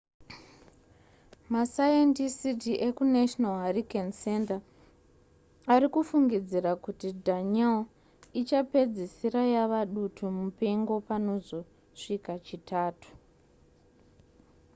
masayendisiti ekunational hurricane center ari kufungidzira kuti danielle ichapedzisira yava dutu mupengo panozosvika chitatu